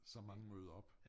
Så mange møder op